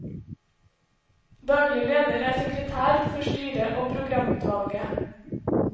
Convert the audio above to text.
Daglig leder er sekretær for styret og programutvalget.